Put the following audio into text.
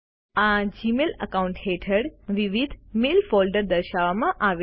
આ Gmail account હેઠળ વિવિધ મેલ ફોલ્ડર્સ દર્શાવવામાં આવેલ છે